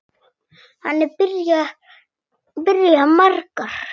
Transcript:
Þannig byrja margar.